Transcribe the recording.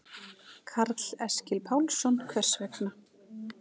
Karl Eskil Pálsson: Hvers vegna?